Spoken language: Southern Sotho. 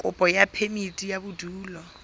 kopo ya phemiti ya bodulo